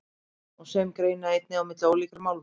Sum greina einnig á milli ólíkra málma.